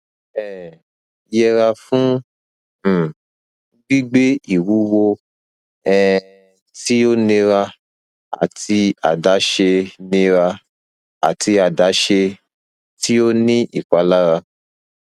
um yẹra fun um gbigbe iwuwo um ti o nira ati adaṣe nira ati adaṣe ti o ni ipalara